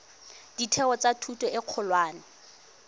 ditheo tsa thuto e kgolwane